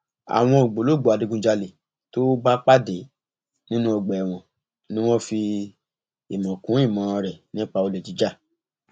àwọn ògbólógbòó adigunjalè tó bá pàdé nínú ọgbà ẹwọn ni wọn fi ìmọ kún ìmọ rẹ nípa olè jíjà